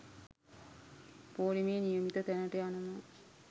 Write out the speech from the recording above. පෝලිමේ නියමිත තැනට යනවා.